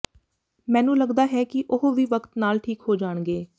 ਮੈਨੂੰ ਲਗਦਾ ਹੈ ਕਿ ਉਹ ਵੀ ਵਕਤ ਨਾਲ ਠੀਕ ਹੋ ਜਾਣਗੇ